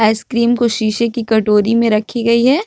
Ice cream को शीशे की कटोरी में रखी गई है।